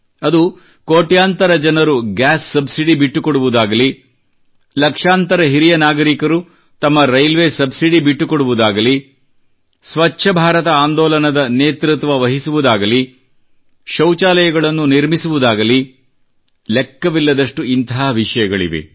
ಅದು ಕೋಟ್ಯಾಂತರ ಜನರು ಗ್ಯಾಸ್ ಸಬ್ಸಿಡಿ ಬಿಟ್ಟುಕೊಡುವುದಾಗಲಿ ಲಕ್ಷಾಂತರ ಹಿರಿಯ ನಾಗರಿಕರು ತಮ್ಮ ರೈಲ್ವೇ ಸಬ್ಸಿಡಿ ಬಿಟ್ಟುಕೊಡುವುದಾಗಲಿ ಸ್ವಚ್ಛ ಬಾರತ ಆಂದೋಲನದ ನೇತೃತ್ವವಹಿಸುವುದಾಗಲಿ ಶೌಚಾಲಯಗಳನ್ನು ನಿರ್ಮಿಸುವುದಾಗಲಿ ಲೆಕ್ಕವಿಲ್ಲದಷ್ಟು ಇಂಥ ವಿಷಯಗಳಿವೆ